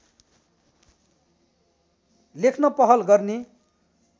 लेख्न पहल गर्ने